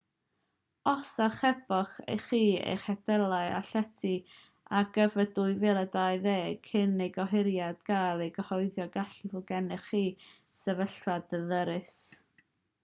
os archeboch chi eich hediadau a llety ar gyfer 2020 cyn i'r gohiriad gael ei gyhoeddi gallai fod gennych chi sefyllfa ddyrys